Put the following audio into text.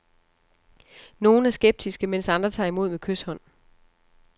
Nogle er skeptiske, mens andre tager imod med kyshånd.